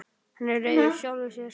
Hann er reiður sjálfum sér.